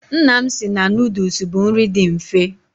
Nna m si na nuduls bụ nri dị mfe.